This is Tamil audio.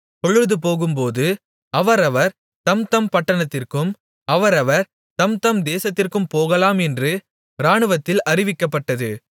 பொழுதுபோகும்போது அவரவர் தம்தம் பட்டணத்திற்கும் அவரவர் தம்தம் தேசத்திற்கும் போகலாம் என்று இராணுவத்தில் அறிவிக்கப்பட்டது